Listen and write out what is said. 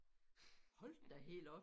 Hold da helt op